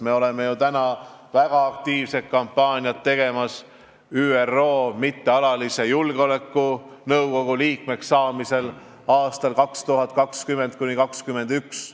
Me teeme ju praegu väga aktiivset kampaaniat, et saada ÜRO Julgeolekunõukogu mittealaliseks liikmeks aastail 2020–2021.